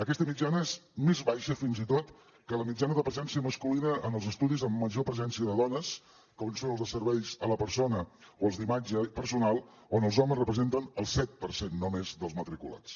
aquesta mitjana és més baixa fins i tot que la mitjana de presència masculina en els estudis amb major presència de dones com són els de serveis a la persona o els d’imatge personal on els homes representen el set per cent només dels matriculats